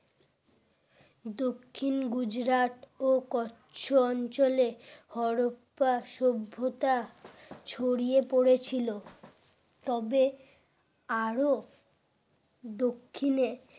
দক্ষিণ গুজরাট ও কচ্ছ অঞ্চলে হরপ্পা সভ্যতা ছড়িয়ে পড়েছিল তবে আর ও দক্ষিণে